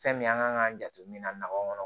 Fɛn min an kan k'an jate minna na aw kɔnɔ